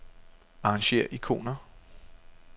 Arrangér ikoner.